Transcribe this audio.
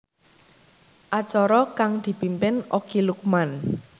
Acara kang dipimpin Okky Lukman